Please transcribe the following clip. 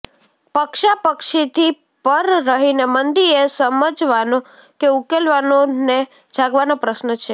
પક્ષાપક્ષીથી પર રહીને મંદી એ સમજવાનો કે ઉકેલવાનો ને જાગવાનો પ્રશ્ન છે